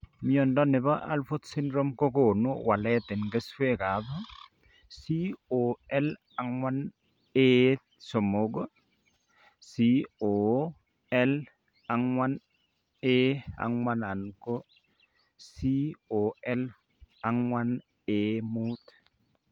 Mnyondo nebo Alport syndrome kogonu walet en keswek ab COL4A3, COL4A4 anan COL4A5